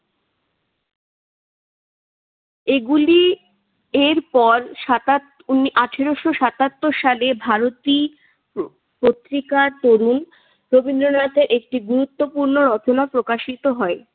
এগুলি এরপর সাতাত উনি আঠারোশ সাতাত্তর সাল ভারতী প পত্রিকা তরুণ রবীন্দ্রনাথের একটি গুরুত্বপূর্ণ রচনা প্রকাশিত হয়।